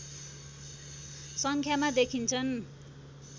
सङ्ख्यामा देखिन्छन्